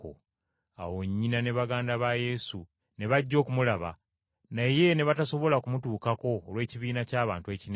Awo nnyina ne baganda ba Yesu ne bajja okumulaba, naye ne batasobola kumutuukako olw’ekibiina ky’abantu ekinene.